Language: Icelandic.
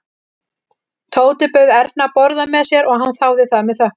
Tóti bauð Erni að borða með sér og hann þáði það með þökkum.